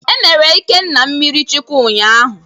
E mere Ịkenna mmiri chukwụ unyaahụ.